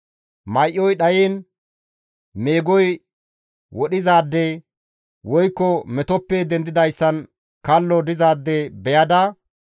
May7oy dhayiin meegoy wodhizaade; woykko metoppe dendidayssan kallo dizaade beyada,